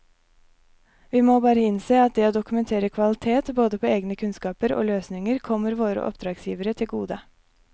Vi må bare innse at det å dokumentere kvalitet både på egne kunnskaper og løsninger kommer våre oppdragsgivere til gode.